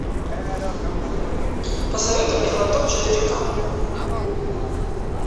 посоветуй мне глоток четыре ка